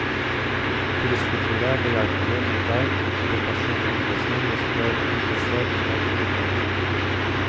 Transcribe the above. Turistkontoret er behjelpelig med guide til personlig omvisning hvis du er spesielt interessert i arkitektur.